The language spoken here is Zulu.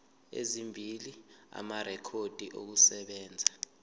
ezimbili amarekhodi okusebenza